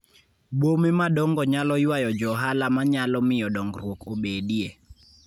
Bome madongo nyalo ywayo johala manyalo miyo dongruok obedie.